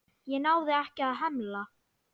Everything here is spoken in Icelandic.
Ég náði ekki að hemla.